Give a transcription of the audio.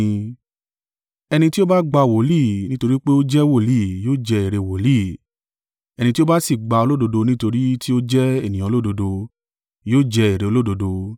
Ẹni tí ó ba gba wòlíì, nítorí pé ó jẹ́ wòlíì yóò jẹ èrè wòlíì, ẹni tí ó bá sì gba olódodo nítorí ti ó jẹ́ ènìyàn olódodo, yóò jẹ èrè olódodo.